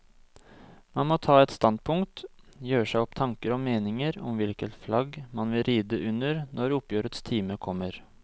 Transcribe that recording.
Man må ta et standpunkt, gjøre seg opp tanker og meninger om hvilket flagg man vil ride under når oppgjørets time kommer.